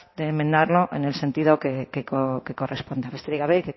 de enmendarlo en el sentido que corresponda que